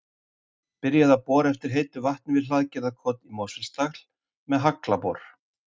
Byrjað að bora eftir heitu vatni við Hlaðgerðarkot í Mosfellsdal með haglabor.